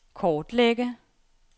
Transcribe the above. kortlægge